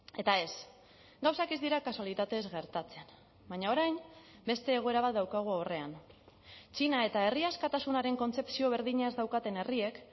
eta ez gauzak ez dira kasualitatez gertatzen baina orain beste egoera bat daukagu aurrean txina eta herria askatasunaren kontzepzio berdina ez daukaten herriek